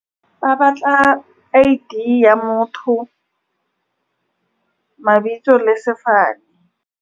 Ba batla I_D ya motho, mabitso le sefane.